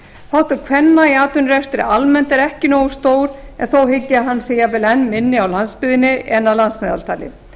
þáttur kvenna í atvinnurekstri er almennt ekki nógu stór en þó hygg ég að hann sé jafnvel enn minni á landsbyggðinni en að landsmeðaltali